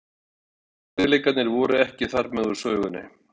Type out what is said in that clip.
En erfiðleikarnir voru ekki þarmeð úr sögunni.